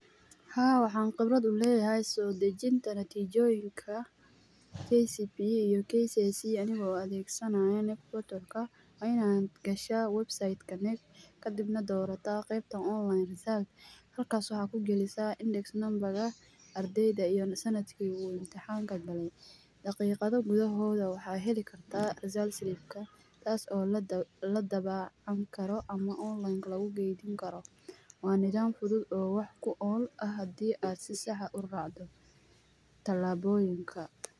Haa, waxaan khibrad u leeyahay soo dajinta natijooyonka ,kcpe iyo kcse anigoo adeeg sanaayo knec portal ka .Waa inaad gashaa website ka knec kadibna dorataa qeebta online halkaas waxaad ka galisaa index number ga iyo sandki uu imtixaanka galay ,daqiiqado gudahooda waxaad heli kartaa result slip ka ,kaas oo la dabaacan karo ama online ka lagu keydin karo ,waa nidaam fudud oo wax ku ool ah hadii aad si sax ah u raacdo talaaboyinka.